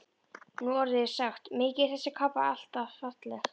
Nú orðið er sagt: Mikið er þessi kápa alltaf falleg